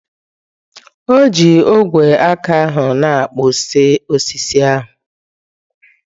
O ji ogwe aka ahụ na-akpụzi osisi ahụ.